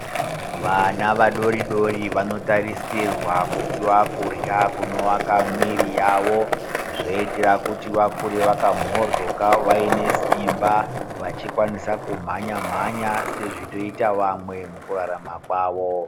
Vana vadori-dori vanotarisirwa kupuwa kurya kunowaka mwiri yavo zvoitira kuti vakure vakamhodhloka vaine simba vachikwanisa kumhanya-mhanya sezvinoita vamwe mukurara kwavo